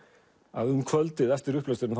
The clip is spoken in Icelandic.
að um kvöldið eftir upplesturinn